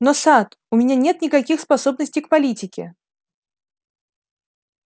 но сатт у меня нет никаких способностей к политике